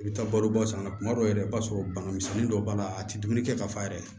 I bɛ taa balo ba san na tuma dɔw la yɛrɛ i b'a sɔrɔ bana misɛnnin dɔw b'a la a ti dumuni kɛ ka fa yɛrɛ